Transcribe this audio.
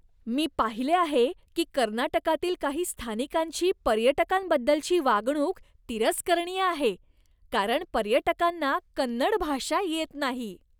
मी पाहिले आहे की कर्नाटकातील काही स्थानिकांची पर्यटकांबद्दलची वागणूक तिरस्करणीय आहे, कारण पर्यटकांना कन्नड भाषा येत नाही.